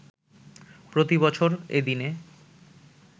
প্রতিবছর এ দিনে